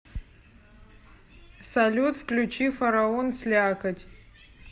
салют включи фараон слякоть